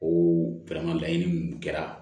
O laɲini minnu kɛra